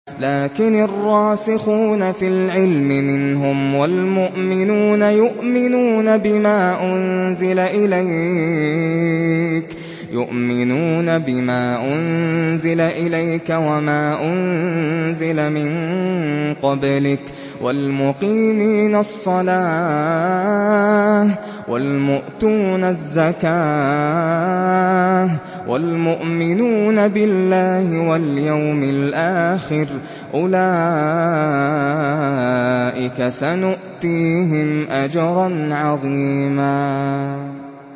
لَّٰكِنِ الرَّاسِخُونَ فِي الْعِلْمِ مِنْهُمْ وَالْمُؤْمِنُونَ يُؤْمِنُونَ بِمَا أُنزِلَ إِلَيْكَ وَمَا أُنزِلَ مِن قَبْلِكَ ۚ وَالْمُقِيمِينَ الصَّلَاةَ ۚ وَالْمُؤْتُونَ الزَّكَاةَ وَالْمُؤْمِنُونَ بِاللَّهِ وَالْيَوْمِ الْآخِرِ أُولَٰئِكَ سَنُؤْتِيهِمْ أَجْرًا عَظِيمًا